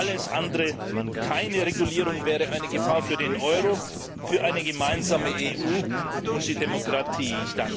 Alles andere, keine Regulierung, wäre eine Gefahr für den Euro, für eine gemeinsame EU und die Demokratie.